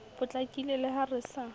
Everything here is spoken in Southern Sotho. potlakile le ha re sa